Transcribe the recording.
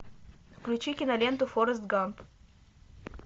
включи киноленту форест гамп